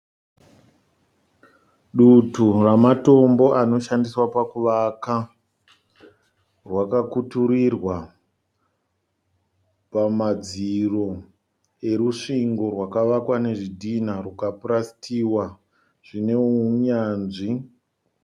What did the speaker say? Dutu rematombo anoshandiswa pakuvaka rwakakuturirwa pamadziro erusvingo rwakavakwa nezvidhinha zvikapurasitiwa zvine unyanzvi.